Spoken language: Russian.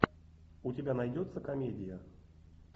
у тебя найдется комедия